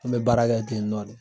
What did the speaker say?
An bɛ baara kɛ ten nɔ.